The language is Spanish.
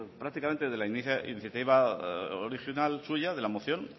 prácticamente desde la iniciativa original suya de la moción